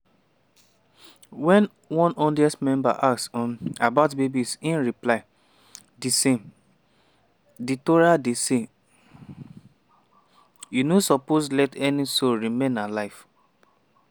after citing one 12th century jewish scholar on holy wars rabbi mali say: “[and if so] di basic rule wey we get wen